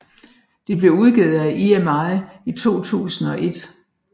Det blev udgivet af EMI i 2001